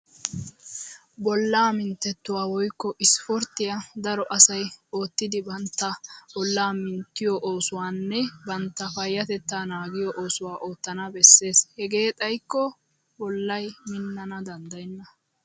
Bollaa minttettuwa woykko isipporttiya daro asay oottidi bantta bollaa minttiyo oosuwanne bantta payyatettaa naagiyo oosuwa oottana bessees. Hegee xaykko bollay minnana danddayenna.